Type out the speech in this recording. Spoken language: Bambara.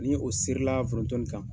Ni o seri la foronto nin kan